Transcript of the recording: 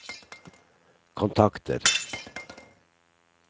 kontakter